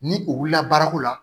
Ni u wulila baarako la